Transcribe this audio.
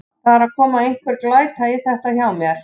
Það er að koma einhver glæta í þetta hjá mér.